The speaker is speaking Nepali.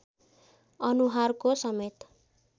अनुहारको समेत